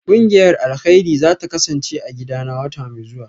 Kungiyar alkairi zata kasance a gidana wata mai zuwa